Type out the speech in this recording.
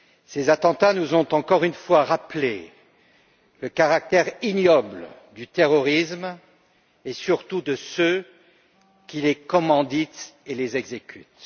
Ces attentats nous ont encore une fois rappelé le caractère ignoble du terrorisme et surtout de ceux qui les commanditent et les exécutent.